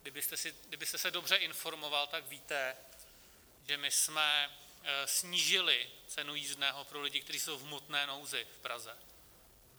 Kdybyste se dobře informoval, tak víte, že my jsme snížili cenu jízdného pro lidi, kteří jsou v hmotné nouzi v Praze.